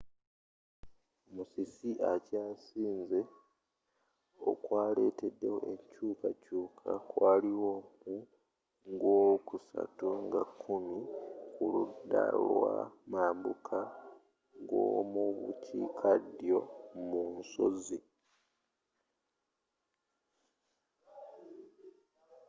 musisi akyasinze okwaletedewo enkyukakyuka kwaliwo mu gwokusatu nga kkumi ku ludda lwa mambukagomubukiika ddyo mu nsozi